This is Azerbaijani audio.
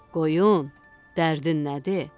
Qoyun, dərdin nədir?